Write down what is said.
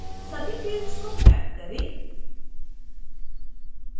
सभी fields को map करें